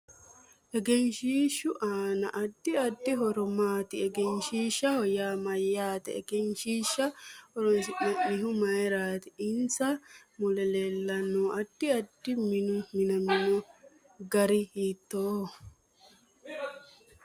Egenshiishu aano addi addi horo maati egenshiishaho yaa mayaate egenshiisha horoonsinanihu mayiirati insa mule leelanno addi addi minu minamino gari hiitooho